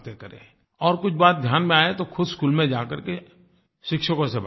और कुछ बात ध्यान में आए तो खुद स्कूल में जा करके शिक्षकों से बात करें